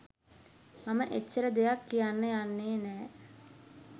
මම එච්චර දෙයක් කියන්න යන්නේ නෑ.